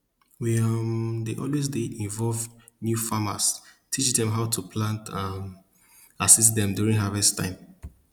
we um dey always dey involve new farmers teach dem how to plant um and assist dem during harvest time